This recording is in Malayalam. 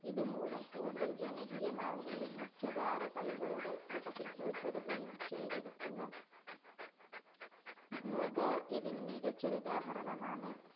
ഇതുമൂലം കൂടുതല്‍ ജനകീയമാവുകയും മുഖ്യധാരാ കളികളുടെ കൂട്ടത്തില്‍ ഉള്‍പ്പെടുകയും ചെയ്തിരിക്കുന്നു. kho-kho ഇതിന് മികച്ചൊരുദാഹരണമാണ്.